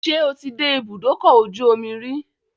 Ṣé o ti dé ibùdókọ̀-ojú-omi rí?